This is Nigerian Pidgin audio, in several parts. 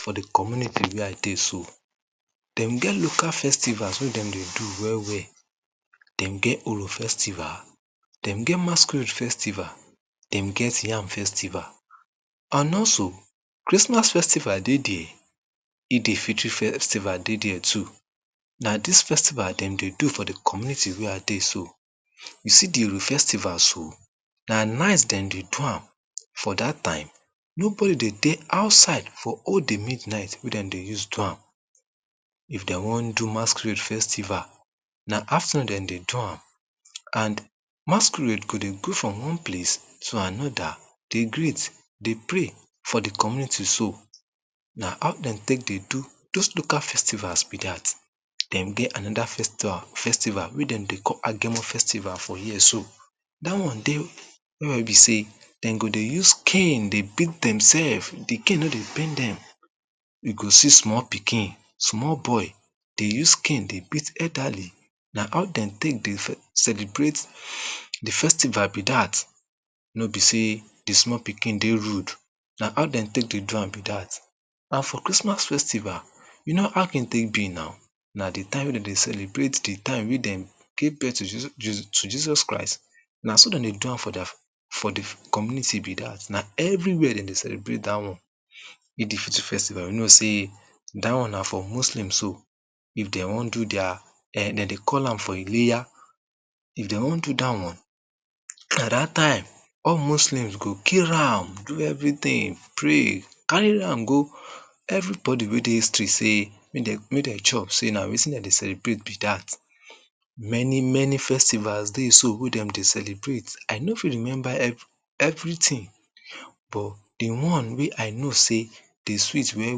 For de community wey I dey so, dem get local festivals wey dem dey do well! well! Dem get Uru, dem masquerade festival, dem get yam festival. And also, Christmas festival dey der, Eid-el-Fitr festival dey der too. Na dis festival dem dey do for de community wey I dey so. You see the Uru festival so, na night dem dey do am. For dat time, nobody dey dey outside for all de midnight wey dem dey use do am. If dey wan do masquerade festival na afternoon dem dey do am and masquerade go dey go from one place to anoda, dey greet, dey play for de community so. Na how dem take dey do dos local festivals be dat. Dem get anoda festival wey dem dey call Agemo festival for here so. Dat one, wey be sey, den go dey use cane dey beat dem sef, de cane no dey pain dem. You go see small pikin, small boy de use cane dey beat elderly. Na how dem take de celebrate de festival be dat. No be sey, de small pikin dey rude, na how dem take dey do am be dat. And for Christmas festival, you know how e take be na. Na de time wey dem dey celebrate de time wey dem gave birth to Jesus Christ.. Na so dem dey do am for de, for de community be dat. Na everywia dem dey celebrate dat one. Eid-el-Fitr festival we no sey dat one na for Muslims so. If dey wan do dia eh dem dey call am for Ileya. If dey wan do dat one, na dat time, all Muslims go kill am, do everything, pray, carry am go. Everybody wey dey history sey make dem, make dem chop sey na wetin dem dey celebrate be dat. Many, many festivals dey so wey dem dey celebrate I no fit rememba every, everytin.. But de one wey I no sey dey sweet well,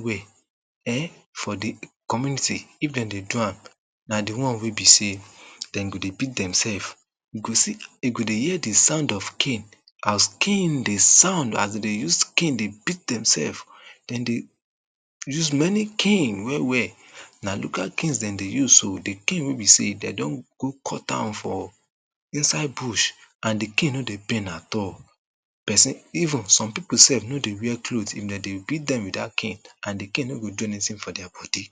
well! eh for de community if dem dey do am na de one wey be sey dem go dey beat demsef. You go see, you go dey hear de sound of cane, as cane de sound as dem dey use cane dey beat dem sef. Dem dey, use many cane well, well! Na de dem de use so, de cane wey be sey dey don go cut am for inside bush and de cane no de pain at all. Pesin, even some pipo sef dem no dey wear cloth, if dem dey beat dem with dat cane and de cane no go do anytin for dia body.